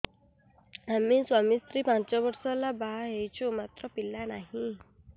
ଆମେ ସ୍ୱାମୀ ସ୍ତ୍ରୀ ପାଞ୍ଚ ବର୍ଷ ହେଲା ବାହା ହେଇଛୁ ମାତ୍ର ପିଲା ନାହିଁ